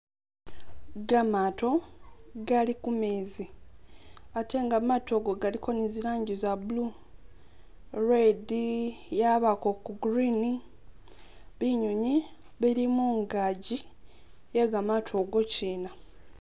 Gamaato gali kumezi, ate nga maato go galiko ni zilanji za blue, red yabako ku green, binyunywi bili mungaaji ye gamaato go kyina